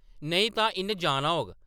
नेईं तां इन जाना होग !”